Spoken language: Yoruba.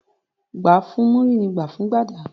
Gbà fún múrí, ní gbà fún gbàdà